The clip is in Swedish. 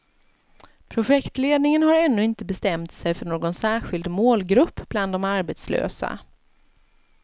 Projektledningen har ännu inte bestämt sig för någon särskild målgrupp bland de arbetslösa.